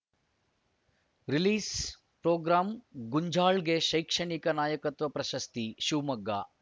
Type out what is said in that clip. ರಿಲೀಸ್‌ಪ್ರೊಗ್ರಾಮ್ಮ್ ಗುಂಜಾಳ್‌ಗೆ ಶೈಕ್ಷಣಿಕ ನಾಯಕತ್ವ ಪ್ರಶಸ್ತಿ ಶಿವಮೊಗ್ಗ